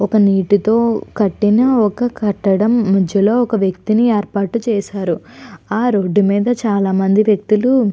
ఒక నీటితో కట్టిన ఒక కట్టడం మధ్యలో ఒక వ్యక్తిని ఏర్పాటు చేశారు. ఆ రోడ్డు మీద చాలామంది వ్యక్తులు --